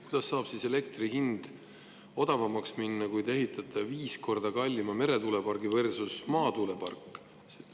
Kuidas saab elektri hind odavamaks minna, kui te ehitate viis korda kallima meretuulepargi versus maatuulepark?